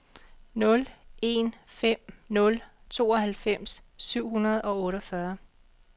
nul en fem nul tooghalvfems syv hundrede og otteogfyrre